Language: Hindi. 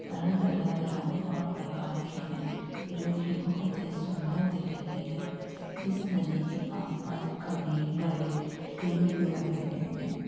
अलग-अलग रंग और प्रकार के हैं जो की बहोत ही सुंदर दिख रहे हैं। इस नदी के आसपास घने बड़े पेड़ भी लगाये गये हैं।